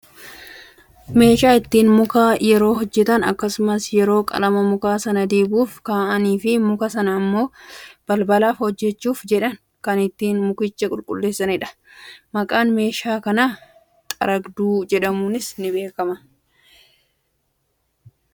meeshaa ittiin muka yeroo hojjatan akkasumas yeroo qalama muka sana dibuuf ka'anii fi muka sana ammoo balbalafaa hojjachuuf jedhan kan ittiin mukicha qulqulleessanidha. maqaan meeshaa kanaa xaragduu jedhamuunis ni beekama.